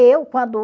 Eu, quando